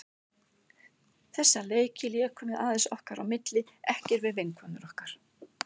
Þessa leiki lékum við aðeins okkar á milli, ekki við vinkonur okkar.